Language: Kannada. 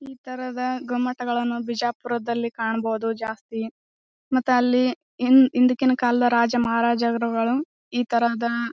ಈ ತರಹದ ಗೊಮ್ಮಟಗಳನ್ನು ಬಿಜಾಪುರದಲ್ಲಿ ಕಾಣಬಹುದು ಜಾಸ್ತಿ ಮತ್ತ ಅಲ್ಲಿ ಹಿಂದಿನ ಕಾಲದ ರಾಜ ಮಹಾರಾಜರು ಈ ತರಹದ--